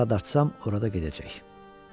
Hara dartsam, orada gedəcək.